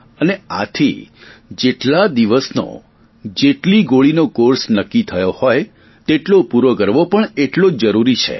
અને આથી જેટલા દિવસનો જેટલી ગોળીનો કોર્સ નક્કી થયો હોય તેટલો પૂરો કરવો પણ એટલો જ જરૂરી છે